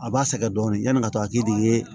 A b'a sɛgɛn dɔɔnin yani ka to a k'i di i ye